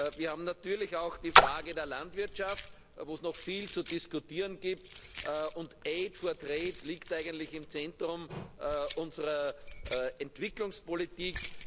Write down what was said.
Wir haben natürlich auch die Frage der Landwirtschaft, wo es noch viel zu diskutieren gibt, und aid for trade liegt eigentlich im Zentrum unserer Entwicklungspolitik.